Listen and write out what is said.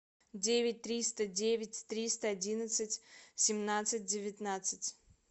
девять триста девять триста одиннадцать семнадцать девятнадцать